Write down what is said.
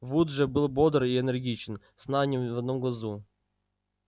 вуд же был бодр и энергичен сна ни в одном глазу